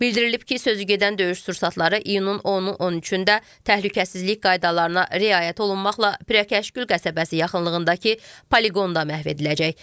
Bildirilib ki, sözügedən döyüş sursatları iyunun 10-u 13-də təhlükəsizlik qaydalarına riayət olunmaqla Pirəkəşqül qəsəbəsi yaxınlığındakı poliqonda məhv ediləcək.